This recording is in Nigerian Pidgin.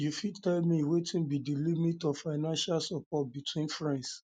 you fit tell me wetin be di limit of of financial support between friends